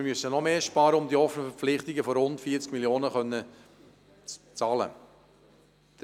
Wir müssen also noch mehr einsparen, um die offenen Verpflichtungen in der Höhe von rund 40 Mio. Franken bezahlen zu können.